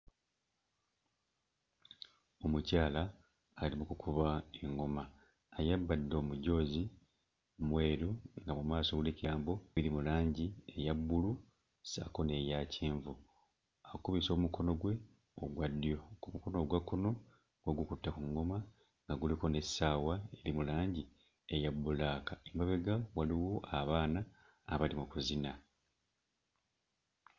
Omukyala ali mu kukuba eŋŋoma, ayambadde omujoozi mweru nga mu maaso guliko ebigambo biri mu langi eya bbulu ssaako n'eya kyenvu, akubisa omukono gwe ogwa ddyo ku mukono ogwa kkono ogukutte ku ŋŋoma nga guliko n'essaawa eri mu langi eya bbulaaka. Emabega waliwo abaana abali mu kuzina.